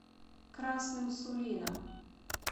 красным сулином